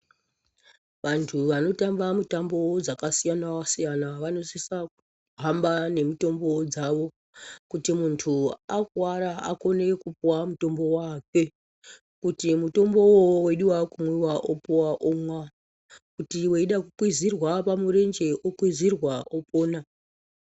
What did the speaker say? Vantu vanotamba mitamo dzakasiyana siyana vano vanosisa kuhamba nemitombo dzavo. Kuti muntu akuvara akone kupuva mutombo wakwe. Kuti mutombo ivovovo veidiva kumwiva opuva omwa kuti veida kukwizirwa pamurenje okwizirwa opona.